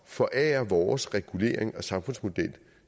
forære vores regulering og samfundsmodel